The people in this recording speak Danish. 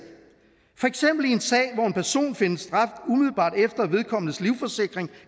hvor en person findes dræbt umiddelbart efter at vedkommendes livsforsikring